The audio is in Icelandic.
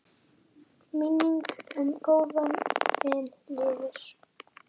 Minning um góðan vin lifir.